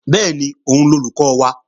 Bẹ́ẹ̀ni, òun lolùkọ́ wa